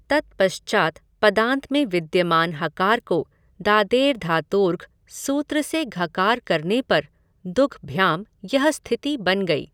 तत्पश्चात् पदान्त में विद्यमान हकार को दादेर्धातोर्घः सूत्र से घकार करने पर दुघ् भ्याम् यह स्थिति बन गई।